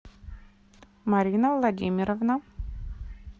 марина владимировна